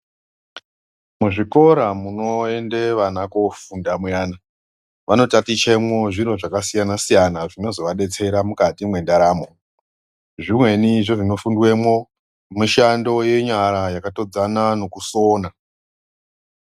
Muzvikora munoende vana koofunda muyana vanotatichemwa zviro zvakasiyana-siyana zvinozovadetsera mukati mwendaramo. Zvimweni zvezvinofundwemo mishando yenyara yakatodzana nokusona.